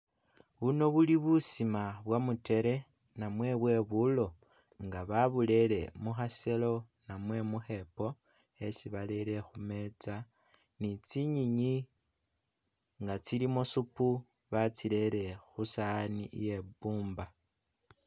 Buno buli busima bwa mutere namwe bwebulo! Nga baburere mu khaselo namwe mu khepo khesi barere khu metsa ni tsinyenyi nga tsilimo suupu batsirere khu saani iye'bumba.